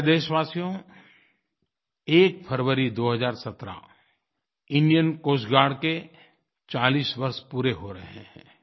प्यारे देशवासियो 1 फरवरी 2017 इंडियन कोस्ट गार्ड के 40 वर्ष पूरे हो रहे हैं